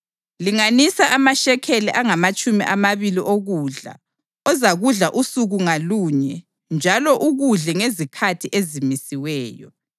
Linganisa amashekeli angamatshumi amabili okudla ozakudla usuku ngalunye njalo ukudle ngezikhathi ezimisiweyo.